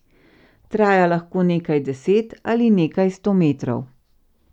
Traja lahko nekaj deset ali nekaj sto metrov.